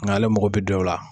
Nga ale mako bɛ dɔw la